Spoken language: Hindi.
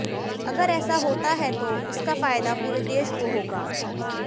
अगर ऐसा होता है तो इसका फायदा पूरे देश को होगा